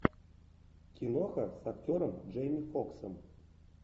киноха с актером джейми фоксом